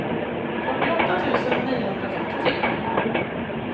fyrtioåtta tusen niohundrafemtiotre